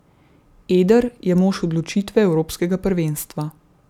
Eder je mož odločitve evropskega prvenstva.